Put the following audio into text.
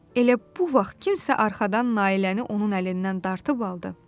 Elə bu vaxt kimsə arxadan Nailəni onun əlindən dartıb aldı.